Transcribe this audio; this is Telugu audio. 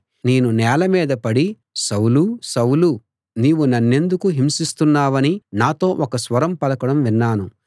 నేను నేల మీద పడి సౌలూ సౌలూ నీవు నన్నెందుకు హింసిస్తున్నావని నాతో ఒక స్వరం పలకడం విన్నాను